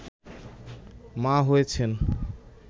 মা হয়েছেন